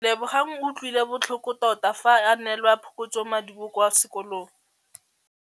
Lebogang o utlwile botlhoko tota fa a neelwa phokotsômaduô kwa sekolong.